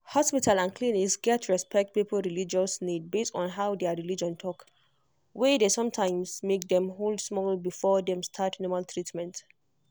hospital and clinic gats respect people religious needs based on how their religion talk.were dey sometimes make dem hold small before dem start normal treatment.